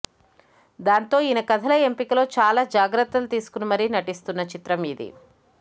దాంతో ఈయన కథల ఎంపికలో చాలా జాగ్రత్తలు తీసుకొని మరీ నటిస్తున్న చిత్రం ఇది